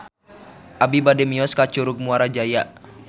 Abi bade mios ka Curug Muara Jaya